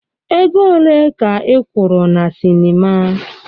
Ego ole ka ị kwụrụ na sinima?